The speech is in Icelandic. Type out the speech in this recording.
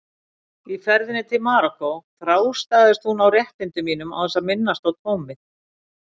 Í ferðinni til Marokkó þrástagaðist hún á réttindum mínum án þess að minnast á tómið.